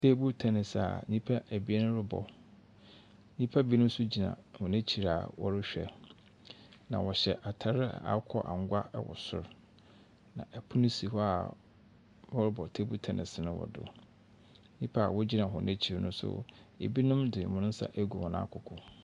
Table tennis a nnipa abien rebɔ, nnipa binom nso gyina wɔn akyir a wɔrehwɛ. Na wɔhyɛ ataar a akokɔ angwa ɛwɔ sor. Na ɛpono si hɔ a wɔrebɔ table tennis no ɛwɔ do. Nnipa a wɔgyina hɔ no akyir no nso ebinom de wɔn nsa agu wɔn akoko.